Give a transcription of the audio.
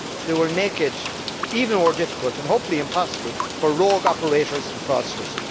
They will make it even more difficult and hopefully impossible for rogue operators and fraudsters.